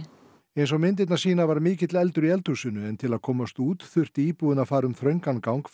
eins og myndirnar sýna var mikill eldur í eldhúsinu en til að komast út þurfti íbúinn að fara um þröngan gang